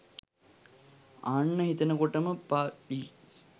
අහන්න හිතනකොටම ප.ලි.